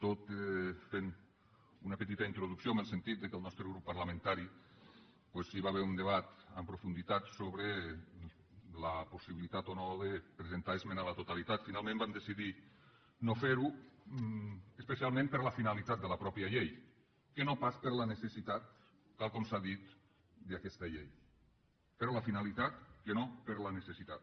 tot fent una petita introducció en el sentit que en el nostre grup parlamentari hi va haver un debat en profunditat sobre la possibilitat o no de presentar esmena a la totalitat finalment vam decidir no ferho especialment per la finalitat de la pròpia llei que no pas per la necessitat tal com s’ha dit d’aquesta llei per la finalitat que no per la necessitat